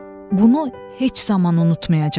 Bunu heç zaman unutmayacağam.